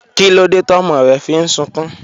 Kílódé tọ́mọ rẹ fi ń sunkún?